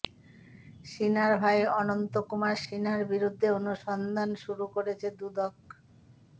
সিনহার ভাই অনন্ত কুমার সিনহার বিরুদ্ধে অনুসন্ধান শুরু করেছে দুদক